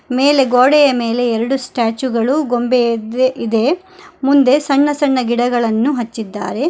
ಮೇಲೆ ಗೋಡೆಯ ಮೇಲೆ ಎರಡು ಸ್ಟ್ಯಾಚು ಗಳು ಗೊಂಬೆ ವೆ- ಇದೆ ಮುಂದೆ ಸಣ್ಣ ಸಣ್ಣ ಗಿಡಗಳನ್ನು ಹಚ್ಚಿದ್ದಾರೆ.